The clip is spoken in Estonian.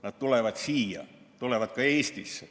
Nad tulevad siia, tulevad ka Eestisse.